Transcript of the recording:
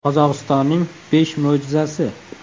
Qozog‘istonning besh mo‘jizasi .